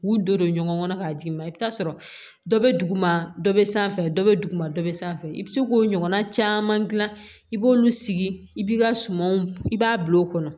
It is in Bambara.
U don ɲɔgɔn kɔnɔ k'a d'i ma i bɛ taa sɔrɔ dɔ bɛ duguma dɔ bɛ sanfɛ dɔ bɛ duguma dɔ bɛ sanfɛ i bɛ se k'o ɲɔgɔnna caman gilan i b'olu sigi i b'i ka sumanw i b'a bil'o kɔnɔ